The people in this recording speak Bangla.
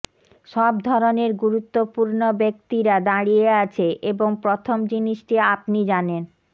সব ধরণের গুরুত্বপূর্ণ ব্যক্তিরা দাঁড়িয়ে আছে এবং প্রথম জিনিসটি আপনি জানেন